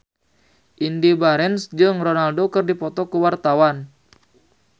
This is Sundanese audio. Indy Barens jeung Ronaldo keur dipoto ku wartawan